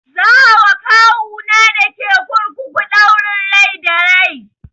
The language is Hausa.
Za a wa kawu na dake kurkuku ɗaurin rai da rai